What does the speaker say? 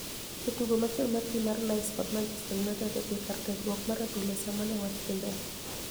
Jatugo machoni mar tim mar niice kod Manichester Uniited odhie kar tiegruok mar adhula e Saaa mani e wach dhimbele